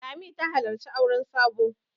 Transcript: Lami ta halarci auren Sabo.